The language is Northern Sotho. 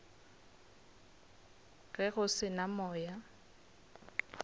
ge go se na moya